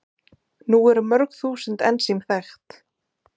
Nú eru mörg þúsund ensím þekkt.